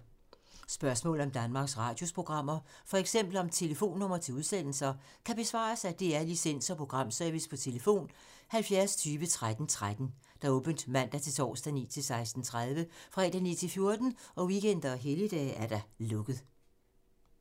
Spørgsmål om Danmarks Radios programmer, f.eks. om telefonnumre til udsendelser, kan besvares af DR Licens- og Programservice: tlf. 70 20 13 13, åbent mandag-torsdag 9.00-16.30, fredag 9.00-14.00, weekender og helligdage: lukket.